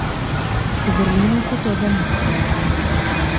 V Berlinu so to zanikali.